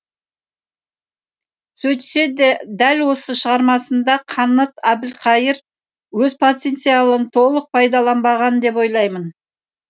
сөйтсе де дәл осы шығармасында қанат әбілқайыр өз потенциалын толық пайдаланбаған деп ойлаймын